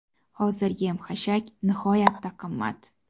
Hozir yem-xashak nihoyatda qimmat.